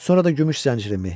Sonra da gümüş zəncirimi.